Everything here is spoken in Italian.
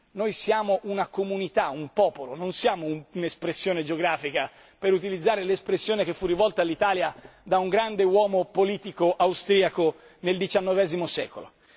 Noi siamo una comunità, un popolo, non siamo un'espressione geografica per utilizzare l'espressione che fu rivolta all'Italia da un grande uomo politico austriaco nel XIX secolo.